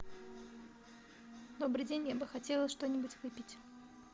добрый день я бы хотела что нибудь выпить